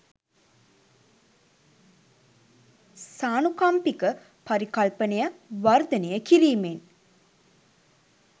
සානුකම්පික පරිකල්පනය වර්ධනය කිරීමෙන්